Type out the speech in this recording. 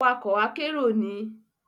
Awakọ akero ni